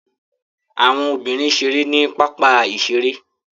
Àwọn obìnrin ṣeré ní pápá-ìṣeré.